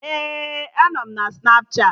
Ee, anọ m Snapchatị